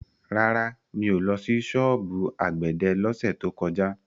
Rárá, mi ò lọ sí ṣọ́ọ̀bù àgbẹ̀dẹ lọ́sẹ̀ tó kọjá.